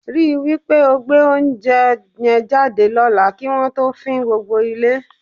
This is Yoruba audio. Rí i wí pé o gbé oúnjẹ yẹn jáde lọ́la kí wọn tó fín gbogbo ilé.